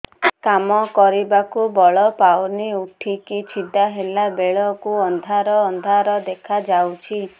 କାମ କରିବାକୁ ବଳ ପାଉନି ଉଠିକି ଛିଡା ହେଲା ବେଳକୁ ଅନ୍ଧାର ଅନ୍ଧାର ଦେଖା ଯାଉଛି